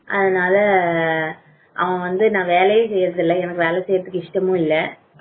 அதனால அங்க நான் வேலையை செய்றது இல்ல வேலை செய்வதற்கு இஷ்டமும் இல்லை